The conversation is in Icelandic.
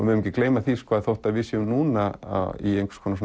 megum ekki gleyma því að þótt að við séum núna í einhvers konar